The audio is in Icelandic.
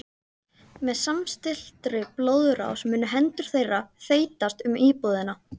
Með samstilltri blóðrás munu hendur þeirra þeytast um íbúðina.